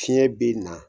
Fiɲɛ bi na